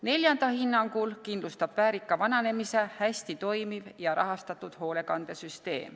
Neljanda hinnangul kindlustab väärika vananemise hästi toimiv ja rahastatud hooldekodusüsteem.